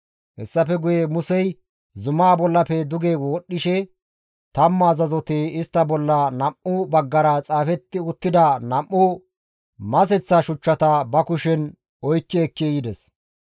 Hessafe guye Musey zumaa bollafe duge wodhdhishe tammu azazoti istta bolla nam7u baggara xaafetti uttida nam7u maseththa shuchchata ba kushen oykki ekki yides.